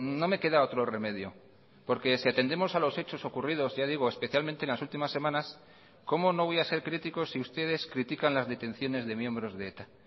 no me queda otro remedio porque si atendemos a los hechos ocurridos ya digo especialmente en las últimas semanas cómo no voy a ser crítico si ustedes critican las detenciones de miembros de eta